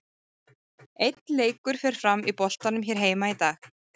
Einn leikur fer fram í boltanum hér heima í dag.